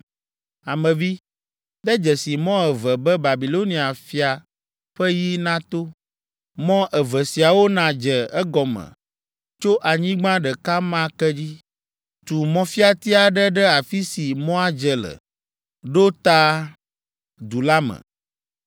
“Ame vi, de dzesi mɔ eve be Babilonia fia ƒe yi nato; mɔ eve siawo nadze egɔme tso anyigba ɖeka ma ke dzi. Tu mɔfiati aɖe ɖe afi si mɔa dze le ɖo ta du la me.